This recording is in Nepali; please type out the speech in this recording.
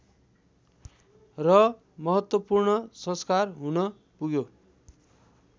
र महत्त्वपूर्ण संस्कार हुनपुग्यो